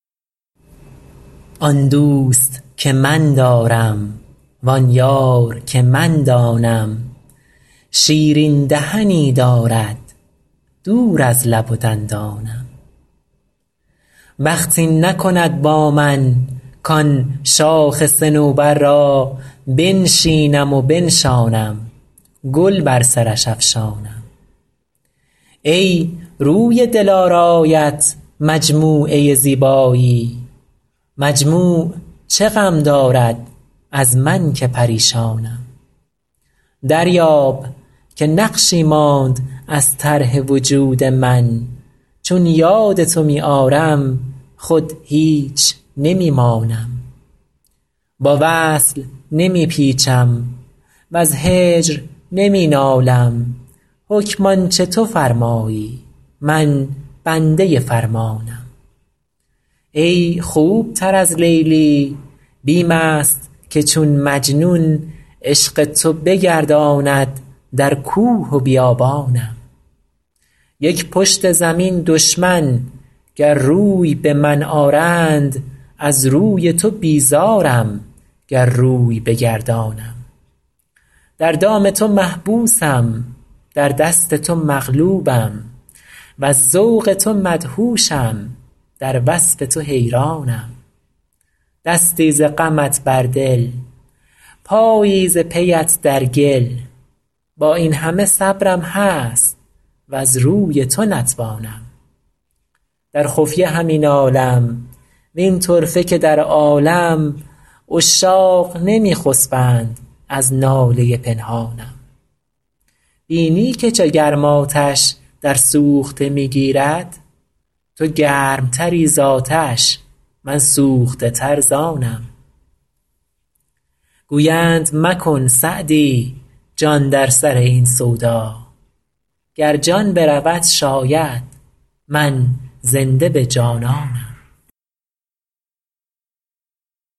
آن دوست که من دارم وآن یار که من دانم شیرین دهنی دارد دور از لب و دندانم بخت این نکند با من کآن شاخ صنوبر را بنشینم و بنشانم گل بر سرش افشانم ای روی دلارایت مجموعه زیبایی مجموع چه غم دارد از من که پریشانم دریاب که نقشی ماند از طرح وجود من چون یاد تو می آرم خود هیچ نمی مانم با وصل نمی پیچم وز هجر نمی نالم حکم آن چه تو فرمایی من بنده فرمانم ای خوب تر از لیلی بیم است که چون مجنون عشق تو بگرداند در کوه و بیابانم یک پشت زمین دشمن گر روی به من آرند از روی تو بیزارم گر روی بگردانم در دام تو محبوسم در دست تو مغلوبم وز ذوق تو مدهوشم در وصف تو حیرانم دستی ز غمت بر دل پایی ز پی ات در گل با این همه صبرم هست وز روی تو نتوانم در خفیه همی نالم وین طرفه که در عالم عشاق نمی خسبند از ناله پنهانم بینی که چه گرم آتش در سوخته می گیرد تو گرم تری زآتش من سوخته تر ز آنم گویند مکن سعدی جان در سر این سودا گر جان برود شاید من زنده به جانانم